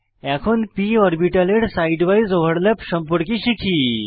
এখন p অরবিটালের side উইসে ওভারল্যাপ সম্পর্কে শিখি